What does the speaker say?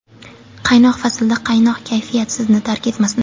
Qaynoq faslda quvnoq kayfiyat sizni tark etmasin.